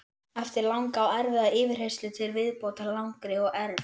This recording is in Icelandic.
Eftir langa og erfiða yfirheyrslu til viðbótar langri og erf